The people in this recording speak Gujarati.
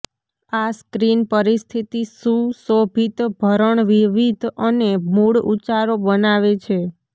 આ સ્ક્રીન પરિસ્થિતિ સુશોભિત ભરણ વિવિધ અને મૂળ ઉચ્ચારો બનાવે છે